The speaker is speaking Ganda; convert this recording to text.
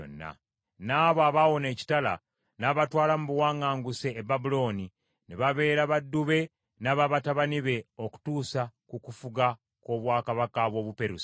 N’abo abaawona ekitala, n’abatwala mu buwaŋŋanguse e Babulooni, ne babeera baddu be n’aba batabani be okutuusa ku kufuga kw’obwakabaka bw’Obuperusi.